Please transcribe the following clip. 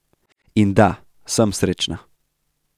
In da, sem srečna.